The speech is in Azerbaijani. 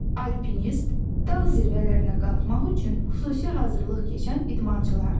Alpinist dağ zirvələrinə qalxmaq üçün xüsusi hazırlıq keçən idmançılardır.